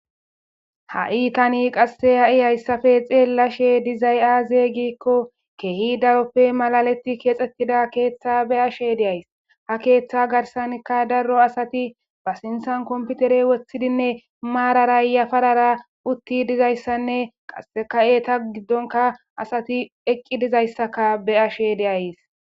ha'i tani qasse ha'i hayssafe xeellashe dizay aaze giikko keehi daroppe malaletti keexxettida keeththa be ashe de'ays ha keeththa garsankka daro asati ba sinsan komputerey wothidinne maarara yafarara utti dizayssanne qasseka eta giddonka asati eqqi dizayssaka be'ashe de'ayis